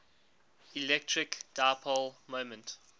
electric dipole moment